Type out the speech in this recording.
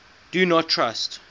do not trust